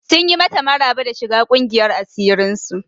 Sun yi mata maraba da shiga ƙungiyar asirin su.